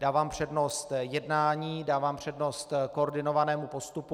Dávám přednost jednání, dávám přednost koordinovanému postupu.